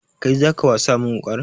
Kai zaka wasa min wuƙar?